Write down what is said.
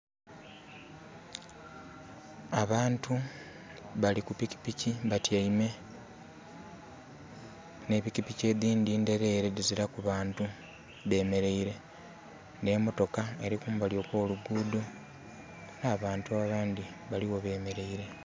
Abantu bali ku pikipiki batyeime nhe pikipiki edhindhi ndherere dhizilaku banti dhe mereire nhe motoka eri kumbali okwolugudho nha bantu abandhi baligho bemereire.